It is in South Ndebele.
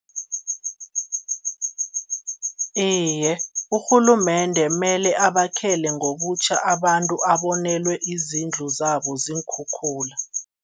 Iye, urhulumende mele abakhele ngobutjha abantu abonelwe izindlu zabo ziinkhukhula.